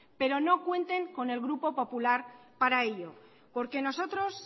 pero no cuenten con el grupo popular para ello porque nosotros